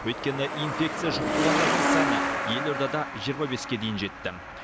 өйткені инфекция жұқтырғандардың саны елордада жиырма беске дейін жетті